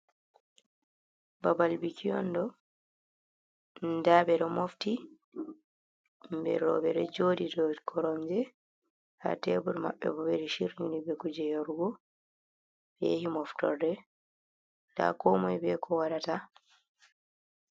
Babal biki on ɗo nda ɓeɗo mofti himɓɓe roɓɓe ɗo joɗi do koromje ha tebur maɓbe bo ɓeɗo shiryi ni ɓe kuje yarugo ɓe yahi moftorde nda komoi ɓe ko waɗata.